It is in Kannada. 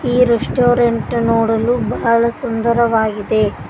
ಈ ರೆಸ್ಟೋರೆಂಟ್ ನೋಡಲು ಬಹಳ ಸುಂದರವಾಗಿದೆ.